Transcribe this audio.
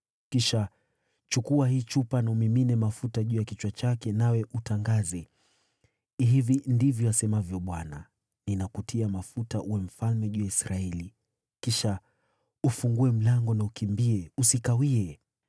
Kisha chukua hii chupa na umimine mafuta juu ya kichwa chake, nawe utangaze, ‘Hivi ndivyo asemavyo Bwana : Ninakutia mafuta uwe mfalme juu ya Israeli.’ Kisha ufungue mlango na ukimbie; usikawie!”